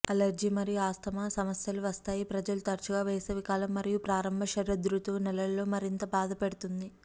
allergy మరియు asthma సమస్యలు వస్తాయి ప్రజలు తరచుగా వేసవికాలం మరియు ప్రారంభ శరదృతువు నెలలలో మరింత బాధపెడుతుంది